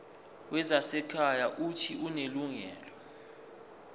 wezasekhaya uuthi unelungelo